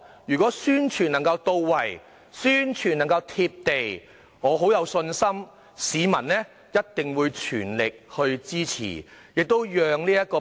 如果宣傳能夠到位和"貼地"，我有信心市民一定會全力支持。